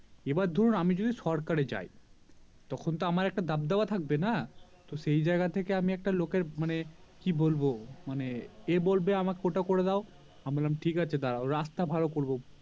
এবার ধরুন আমি যদি সরকারে যাই তখন তো আমার একটা দাবদাবা থাকবে না তো সে জায়গা থেকে আমি একটা লোকের মানে কি বলবো মানে এ বলবে এটা আমার করে দাও আমি বললাম ঠিকাছে দাড়াও রাস্তা ভালো করবো